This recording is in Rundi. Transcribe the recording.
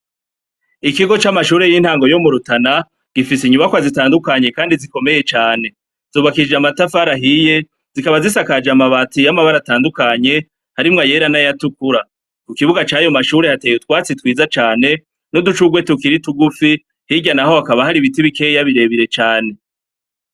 Ikigo c'amashure y'intango yo murutana gifise inyubakwa zitandukanye kandi zikomeye cane, zubakishije amatafarahiye zikaba zisakaje amabati y'amabara atandukanye, harimwa yera na yatukura, ku kibuga cayo mashure hateye utwatsi twiza cane n'uducugwe tukiri tugufi hiryana aho hakaba hari ibiti bikeya birebire cane.